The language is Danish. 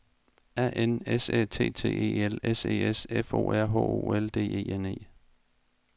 A N S Æ T T E L S E S F O R H O L D E N E